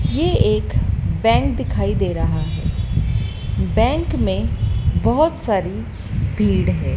ये एक बैंक दिखाई दे रहा है। बँक मे बहोत सारी भीड़ है।